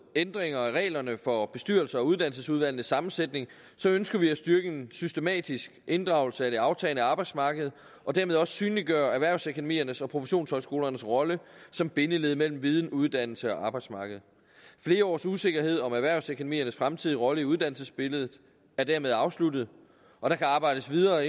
ændringer af reglerne for bestyrelser og uddannelsesudvalgs sammensætning ønsker vi at styrke en systematisk inddragelse af det aftagende arbejdsmarked og dermed også synliggøre erhvervsakademiernes og professionshøjskolernes rolle som bindeled mellem viden uddannelse og arbejdsmarked flere års usikkerhed om erhvervsakademiernes fremtidige rolle i uddannelsesbilledet er dermed afsluttet og der kan arbejdes videre